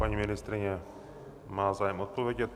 Paní ministryně má zájem odpovědět.